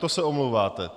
To se omlouváte.